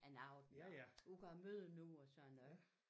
En aften og ud og møde nogen og sådan noget